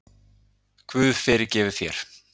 Guð fyrirgefi þér.